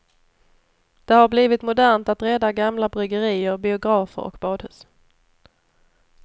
Det har blivit modernt att rädda gamla bryggerier, biografer och badhus.